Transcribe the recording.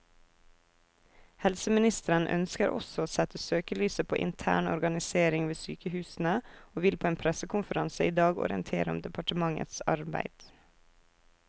Helseministeren ønsker også å sette søkelyset på intern organisering ved sykehusene, og vil på en pressekonferanse i dag orientere om departementets arbeid.